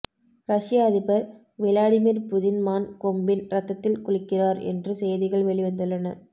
ரஷ்ய அதிபர் Vladimir Putin மான் கொம்பின் ரத்தத்தில் குளிக்கிறார் என்று செய்திகள் வெளிவந்துள்ளன